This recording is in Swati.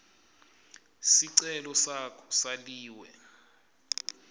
sicelo sakho saliwe